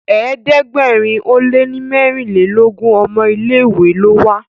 ẹ̀ẹ́dẹ̀gbẹ̀rin o lẹ ní merinlelogun ọmọ ilé ìwé ló wà.